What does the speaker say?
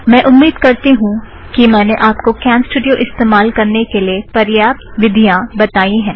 मैं उम्मीद करती हूँ कि मैंने आप को कॅमस्टूड़ियो इस्तमाल करने के लिए परियाप्त विधियाँ बताईं है